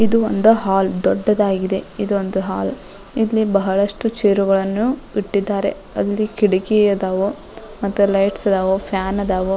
ಇದು ಒಂದು ಹಾಲ್ ದೊಡ್ಡದಾಗಿದೆ ಇದೊಂದು ಹಾಲ್ ಇಲ್ಲಿ ಬಹಳಷ್ಟು ಚೇರ್ಗಳನ್ನು ಇಟ್ಟಿದ್ದಾರೆ ಇಲ್ಲಿ ಕಿಟ್ಕಿ ಅದಾವ ಲೈಟ್ಸ್ ಅದಾವ ಫ್ಯಾನ್ ಅದಾವ್.